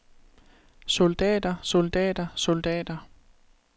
soldater soldater soldater